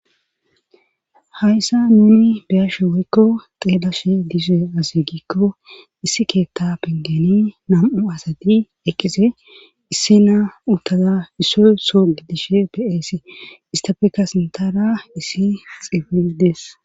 Hayssa nuni biyashe woykko xeelash dise aze gikko issi keetta pengeni nam7u asati eqqise issi naa uttaza issoy soo gidishe peesi istafeka sintara issi xifidees